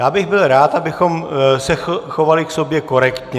Já bych byl rád, abychom se chovali k sobě korektně.